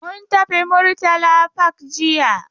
Mun tafi Murtala park jiya.